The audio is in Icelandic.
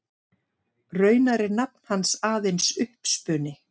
Raunar er nafn hans aðeins uppspuni.